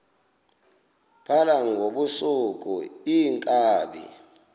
phala ngobusuku iinkabi